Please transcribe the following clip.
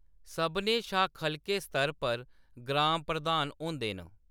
सभनें शा खʼलके स्तर पर ग्राम प्रधान होंदे न।